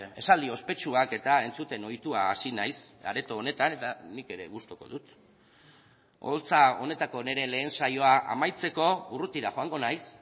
esaldi ospetsuak eta entzuten ohitua hasi naiz areto honetan eta nik ere gustuko dut oholtza honetako nire lehen saioa amaitzeko urrutira joango naiz